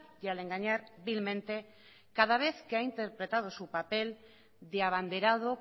y al engañar vilmente cada vez que ha interpretado su papel de abanderado